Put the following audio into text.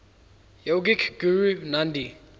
yogic guru nandhi